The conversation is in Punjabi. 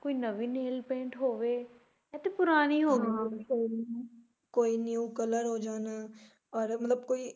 ਕੋਈ ਨਵੀਂ nail paint ਹੋਵੇ ਏਹ ਤਾਂ ਪੁਰਾਣੀ ਹੋ ਗਈ ਕੋਈ new color ਹੋ ਜਾਣ ਔਰ ਮਤਲਬ ਕੋਈ